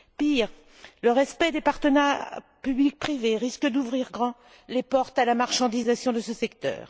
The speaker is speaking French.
Pire, le respect des partenariats public privé risque d'ouvrir grand les portes à la marchandisation de ce secteur.